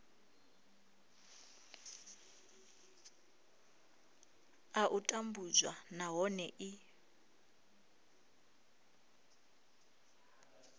a u tambudzwa nahone i